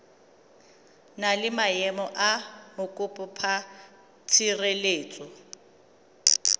na le maemo a mokopatshireletso